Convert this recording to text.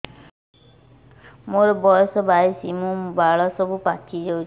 ମୋର ବୟସ ବାଇଶି ମୁଣ୍ଡ ବାଳ ସବୁ ପାଛି ଯାଉଛି